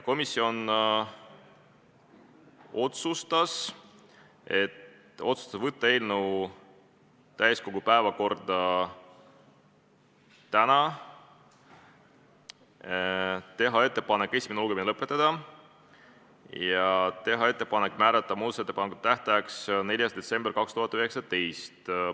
Komisjon otsustas saata eelnõu täiskogu päevakorda tänaseks, teha ettepaneku esimene lugemine lõpetada ja teha ettepaneku määrata muudatusettepanekute esitamise tähtajaks 4. detsember 2019.